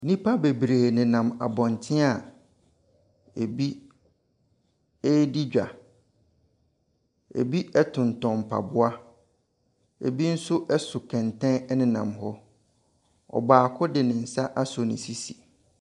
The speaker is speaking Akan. Nnipa bebree nenam abɔntene a ɛbi redi dwa. Ɛbi tontɔn mpaboa, ɛbi nso so kɛntɛn nenam hɔ. Ɔbaako de ne nsa asɔ ne sisi.